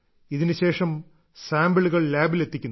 ഇതിനുശേഷം സാംപിളുകൾ ലാബിൽ എത്തിക്കുന്നു